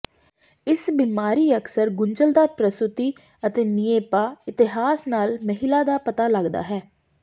ਇਸ ਬਿਮਾਰੀ ਅਕਸਰ ਗੁੰਝਲਦਾਰ ਪ੍ਰਸੂਤੀ ਅਤੇ ਿਣੇਪਾ ਇਤਿਹਾਸ ਨਾਲ ਮਹਿਲਾ ਦਾ ਪਤਾ ਲੱਗਦਾ ਹੈ